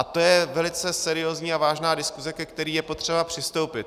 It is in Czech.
A to je velice seriózní a vážná diskuse, ke které je potřeba přistoupit.